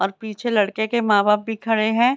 और पीछे लड़के के माँ-बाप भी खड़े हैं।